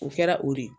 O kɛra o de ye